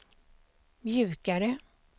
mjukare